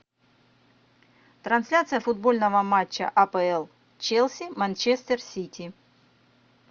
трансляция футбольного матча апл челси манчестер сити